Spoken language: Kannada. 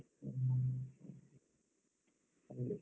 ಹ್ಮ್. ಹಾಗೆ.